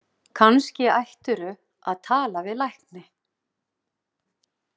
Kannski ættirðu að tala við lækni?